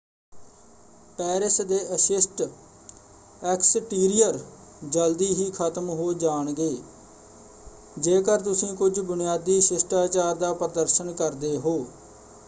Paris ਦੇ ਅਸ਼ਿਸ਼ਟ exterior ਜਲਦੀ ਹੀ ਖਤਮ ਹੋ ਜਾਣਗੇ ਜੇਕਰ ਤੁਸੀਂ ਕੁੱਝ ਬੁਨਿਆਦੀ ਸ਼ਿਸ਼ਟਾਚਾਰ ਦਾ ਪ੍ਰਦਰਸ਼ਨ ਕਰਦੇ ਹੋ।